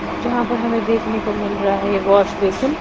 जहां पर हमें देखने को मिल रहा है ये वॉश बेसिन ।